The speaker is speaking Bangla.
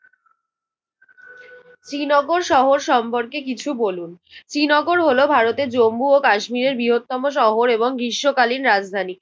শ্রীনগর শহর সম্পর্কে কিছু বলুন। শ্রীনগর হলো ভারতের জম্মু ও কাশ্মীরের বৃহত্তম শহর এবং গ্রীষ্মকালীন রাজধানী।